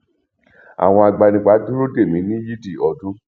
àwọn agbanipa dúró dè mí ní yídí ọdún